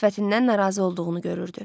Sifətindən narazı olduğunu görürdü.